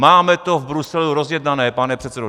"Máme to v Bruselu rozjednané, pane předsedo.